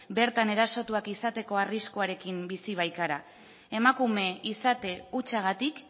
bertan erasotuak izateko arriskuarekin bizi baikara emakume izate hutsagatik